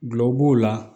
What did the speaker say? Gulɔ b'o la